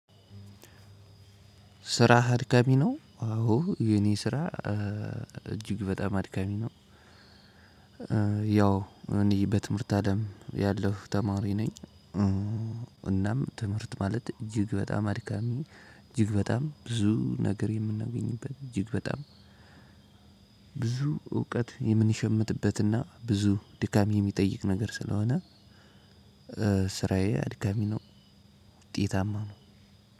ስራህ አድካሚ ነው። አዎ የኔ ስራ እጅግ በጣም አድካሚ ነው። ያው እንዲ በትምህርት አለም ያለሁ ተማሪ ነኝ። እናም ትምህርት ማለት እጅግ በጣም አድካሚ እጅግ በጣም ብዙ ነገር የምናገኝበት እጅግ በጣም። ብዙ እውቀት የምንሸምትበትና ብዙ ድካም የሚጠይቅ ነገር ስለሆነ። ስራዬ አድካሚ ነው። ውጤታማ ነው።